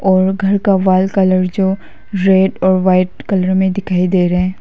और घर का वॉल कलर जो रेड और वाइट कलर में दिखाई दे रहे हैं।